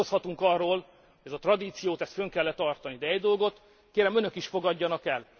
Vitatkozhatunk arról, hogy ezt a tradíciót fönt kell e tartani, de egy dolgot, kérem, Önök is fogadjanak el.